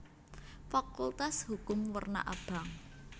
Fakultas Hukum werna abang